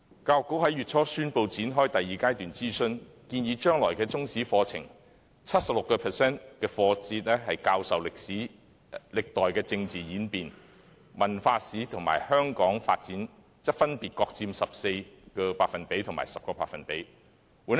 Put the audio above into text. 教育局在月初宣布展開第二階段諮詢，建議將來的中史課程 ，76% 課節教授歷代政治演變，文化史和香港發展則分別各佔 14% 和 10%。